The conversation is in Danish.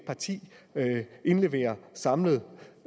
parti indleverer samlet